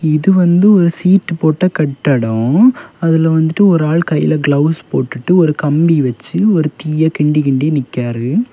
இது வந்து ஒரு சீட்டு போட்ட கட்டடம் அதுல வந்துட்டு ஒரு ஆள் கைல கிளவுஸ் போட்டுட்டு ஒரு கம்பி வச்சு ஒரு தீய கிண்டி கிண்டி நிக்கிறாரு.